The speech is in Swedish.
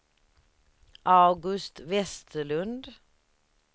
August Vestlund